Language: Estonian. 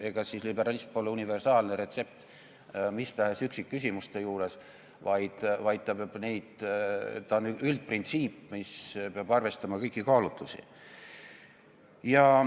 Ega siis liberalism pole universaalne retsept mis tahes üksikküsimuste puhul, vaid see on üldprintsiip, mis peab arvestama kõiki kaalutlusi.